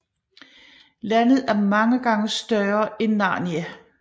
Landet er mange gange større end Narnia